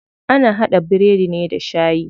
Ana haɗa biredi ne da shayi.